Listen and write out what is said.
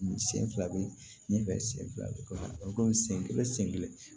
Sen fila bɛ ɲɛfɛ sen fila bɛ kɔfɛ komi sen kelen sen kelen